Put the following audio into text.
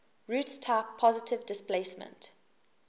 roots type positive displacement